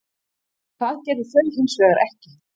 Það gerðu þau hins vegar ekki.